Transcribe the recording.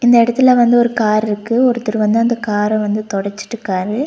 இந்த எடத்தில வந்து ஒரு கார் ருக்கு ஒருத்தர் வந்து அந்த கார வந்து தொடச்சிட்டுகாரு.